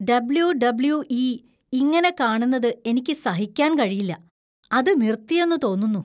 W. WE . ഇങ്ങനെ കാണുന്നത് എനിക്ക് സഹിക്കാൻ കഴിയില്ല. അത് നിർത്തിയെന്നു തോന്നുന്നു.